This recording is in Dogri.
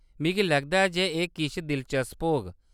मिगी लगदा ऐ जे एह् किश दिलचस्प होग।